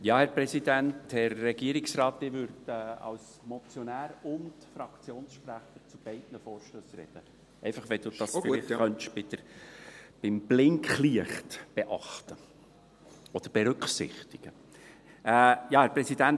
Ich würde als Motionär und Fraktionssprecher zu beiden Vorstössen sprechen – einfach, damit der Präsident dies beim Blinklicht berücksichtigen kann.